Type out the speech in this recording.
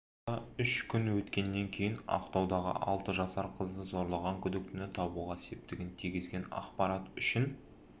арада үш күн өткеннен кейін ақтаудағы алты жасар қызды зорлаған күдіктіні табуға септігін тигізеген ақпарат үшін